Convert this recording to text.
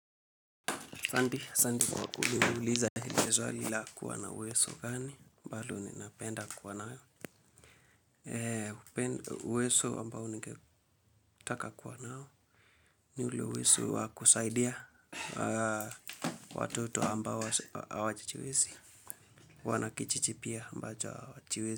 Ahsanti, ahsanti kwa kuniuliza lile swali la uwezo gani ambalo ninapenda kuwa nayo uwezo, uwezo ambao ningetaka kuwa nao ni ule uwezo wa kusaidia watoto ambao hawajiwezi, wanakijiji pia ambacho hawajiwezi.